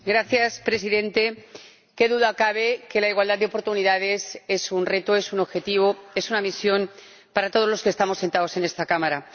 Señor Presidente, qué duda cabe de que la igualdad de oportunidades es un reto, es un objetivo, es una misión para todos los que estamos sentados en esta Cámara.